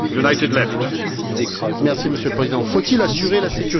Monsieur le Président, faut il assurer la sécurité et l'indépendance énergétique?